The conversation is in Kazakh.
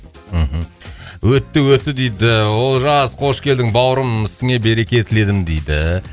мхм өтті өтті дейді олжас қош келдің бауырым ісіңе береке тіледім дейді